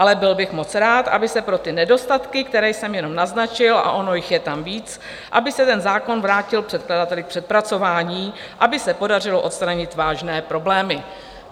Ale byl bych moc rád, aby se pro ty nedostatky, které jsem jenom naznačil, a ono jich je tam víc, aby se ten zákon vrátil předkladateli k přepracování, aby se podařilo odstranit vážné problémy."